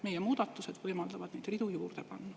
Meie muudatused võimaldavad neid ridu juurde panna.